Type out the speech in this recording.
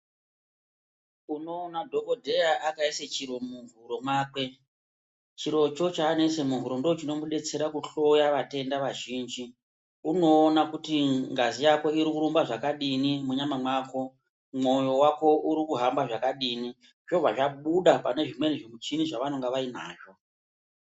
Unoona dhokodheya akaisa chiro muhuro mwakwe chirocho chaanoisa muhuro ndochinomudetsera kuhloya vatenda vazhinji. Unoona kuti ngazi yako irikurumba zvakadini munyama mwako, mwoyo wako urikuhamba zvakadini, zvobva zvabuda panezvimweni muchini zvaanonga vainazvo.